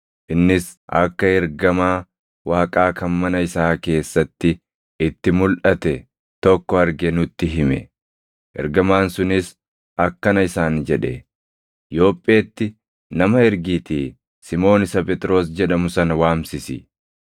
Innis akka ergamaa Waaqaa kan mana isaa keessatti itti mulʼate tokko arge nutti hime; ergamaan sunis akkana isaan jedhe; ‘Yoopheetti nama ergiitii Simoon isa Phexros jedhamu sana waamsisi;